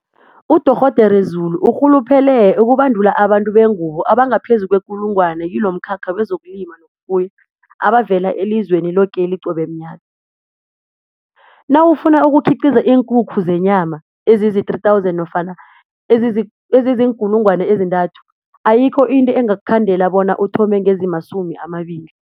UDorh Zulu urhuluphele ukubandula abantu bengubo abangaphezu kwekulungwana kilomkhakha wezokulima nokufuya abavela elizweni lokeli qobe mnyaka. Nawufuna ukukhiqiza iinkukhu zenyama ezizii-3 000, ayikho into engakukhandela bona uthome ngezimasumi amabili.